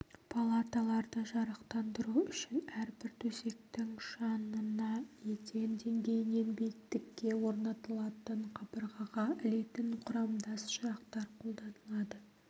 палаталарды жарықтандыру үшін әрбір төсектің жанына еден деңгейінен биіктікке орнатылатын қабырғаға ілетін құрамдас шамшырақтар қолданылады